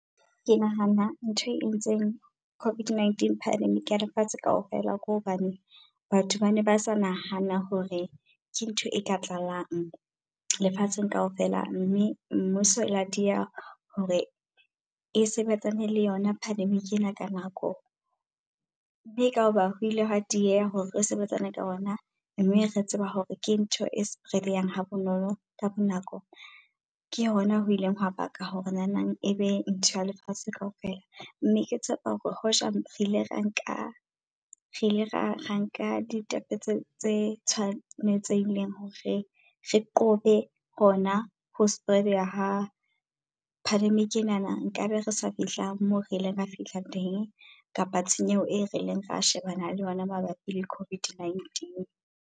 Ke nahana ntho e entseng COVID-19 pandemic ya lefatshe kaofela. Kw hobane batho bane ba sa nahana hore ke ntho e ka tlalang lefatsheng kaofela. Mme mmuso e la dieha hore e sebetsane le yona pandemic ena ka nako, mme ka hona ho ile hwa dieha hore re sebetsane ka ona. Mme re tseba hore ke ntho e spread-eyang ha bonolo ka bo nako. Ke hona ho ileng hwa baka hore nanang ebe ntho ya lefatshe kaofela. Mme ke tshepa hore hoja re ile ra nka re ile ra nka ditepe tse tse tshwanetsehileng hore re qobe hona ho spread-eha ya ha pandemic enana. Nkabe re sa fihla moo re ileng ra fihla teng, kapa tshenyo e rileng ra shebana le yona mabapi le COVID-19.